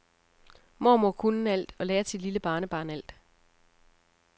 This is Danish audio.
Mormor kunne alt og lærte sit lille barnebarn alt.